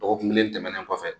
Dɔgɔkun kelen tɛmɛnen kɔfɛ